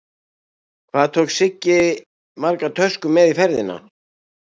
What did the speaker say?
Hvað tók Siggi margar töskur með í ferðina?